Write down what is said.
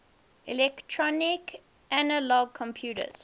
electronic analog computers